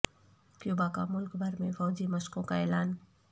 Cuba کا ملک بھر میں فوجی مشقوں کا اعلان